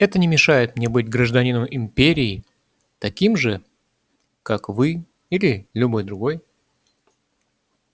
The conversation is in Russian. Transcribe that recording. это не мешает мне быть гражданином империи таким же как вы или любой другой